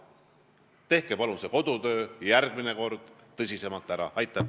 Tehke palun järgmine kord kodutöö paremini ära.